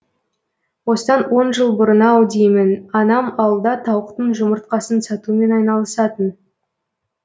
осыдан он жыл бұрын ау деймін анам ауылда тауықтың жұмыртқасын сатумен айналысатын